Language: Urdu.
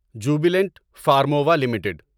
Jubilant Pharmova limited